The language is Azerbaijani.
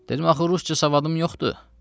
Dedim, axı rusca savadım yoxdur.